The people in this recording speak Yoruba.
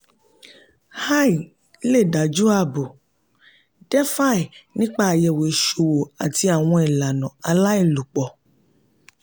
"ai" lè dájú ààbò "defi" nípa àyẹ̀wò ìṣòwò àti àwọn ìlànà aláìlòpọ̀.